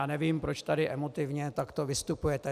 Já nevím, proč tady emotivně takto vystupujete.